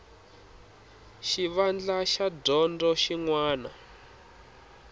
xivandla xa dyondzo xin wana